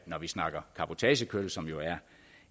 vi snakker cabotagekørsel som jo er